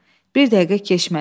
Bir dəqiqə keçmədi.